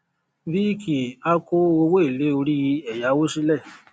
viiki a ko owo ele ori eyawo sile